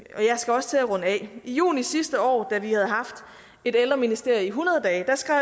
skal også til at runde af i juni sidste år da vi havde haft et ældreministerium i hundrede dage skrev